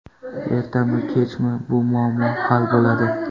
Ertami kechmi bu muammo hal bo‘ladi.